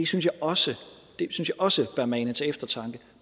synes jeg også også bør mane til eftertanke